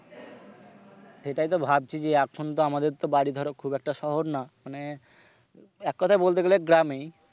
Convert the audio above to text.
সেটাই তো ভাবছি যে এখন তো আমাদের তো বাড়ি ধরো খুব একটা শহর না মানে এক কথায় বলতে গেলে গ্রামই।